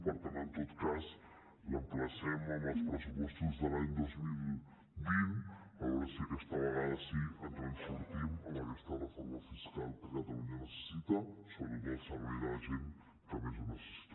per tant en tot cas l’emplacem als pressupostos de l’any dos mil vint a veure si aquesta vegada sí ens en sortim amb aquesta reforma fiscal que catalunya necessita sobretot al servei de la gent que més ho necessita